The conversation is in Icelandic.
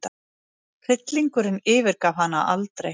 Hryllingurinn yfirgaf hana aldrei.